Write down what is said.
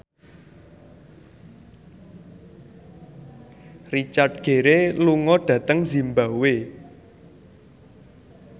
Richard Gere lunga dhateng zimbabwe